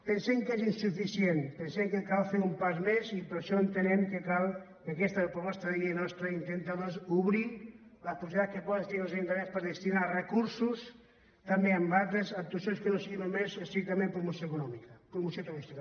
pensem que és insuficient pensem que cal fer un pas més i per això entenem que cal que aquesta proposta de llei nostra intenti doncs obrir les possibilitats que poden tindre els ajuntaments per gestionar els recursos també amb altres actuacions que no siguin estrictament promoció turística